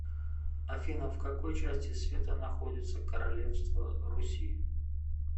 афина в какой части света находится королевство руси